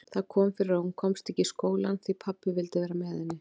Það kom fyrir að hún komst ekki í skólann því pabbi vildi vera með henni.